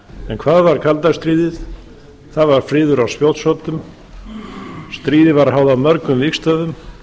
en hvað var kalda stríðið það var friður á spjótsoddum stríðið var háð á mörgum vígstöðvum